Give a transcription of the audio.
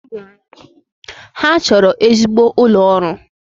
Ha chọrọ ezigbo ụlọ ọrụ